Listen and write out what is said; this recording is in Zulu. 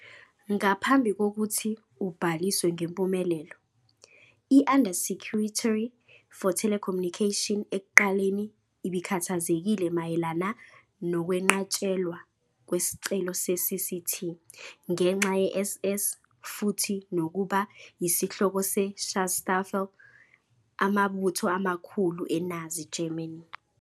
Ngaphambi kokuthi ubhaliswe ngempumelelo, i-Undersecretary for Telecommunication ekuqaleni ibikhathazekile mayelana nokwenqatshelwa kwesicelo se-CCT ngenxa ye -" SS " futhi nokuba yisihloko se Schutzstaffel, amabutho amakhulu eNazi Germany.